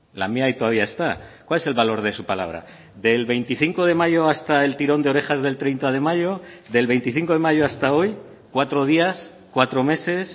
la mía ahí todavía está cuál es el valor de su palabra del veinticinco de mayo hasta el tirón de orejas del treinta de mayo del veinticinco de mayo hasta hoy cuatro días cuatro meses